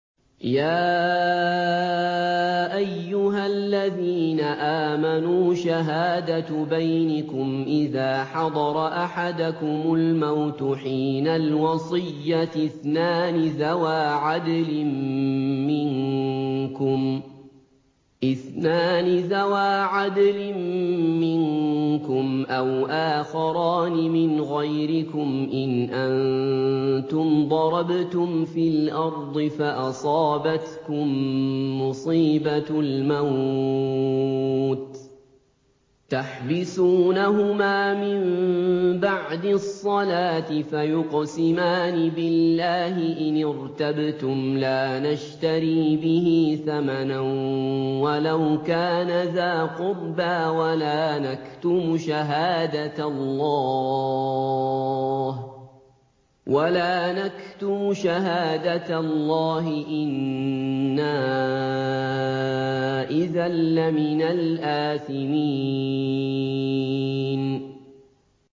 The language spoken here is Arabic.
يَا أَيُّهَا الَّذِينَ آمَنُوا شَهَادَةُ بَيْنِكُمْ إِذَا حَضَرَ أَحَدَكُمُ الْمَوْتُ حِينَ الْوَصِيَّةِ اثْنَانِ ذَوَا عَدْلٍ مِّنكُمْ أَوْ آخَرَانِ مِنْ غَيْرِكُمْ إِنْ أَنتُمْ ضَرَبْتُمْ فِي الْأَرْضِ فَأَصَابَتْكُم مُّصِيبَةُ الْمَوْتِ ۚ تَحْبِسُونَهُمَا مِن بَعْدِ الصَّلَاةِ فَيُقْسِمَانِ بِاللَّهِ إِنِ ارْتَبْتُمْ لَا نَشْتَرِي بِهِ ثَمَنًا وَلَوْ كَانَ ذَا قُرْبَىٰ ۙ وَلَا نَكْتُمُ شَهَادَةَ اللَّهِ إِنَّا إِذًا لَّمِنَ الْآثِمِينَ